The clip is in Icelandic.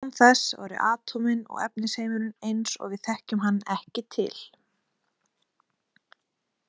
Án þess væru atómin og efnisheimurinn eins og við þekkjum hann ekki til.